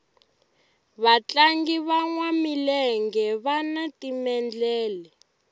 vatlangi vanwa milenge vani timendlele